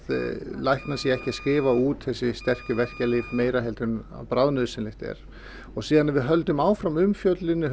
læknar séu ekki að skrifa út þessi sterku verkjalyf meira en bráðnauðsynlegt er svo ef við höldum áfram umfjölluninni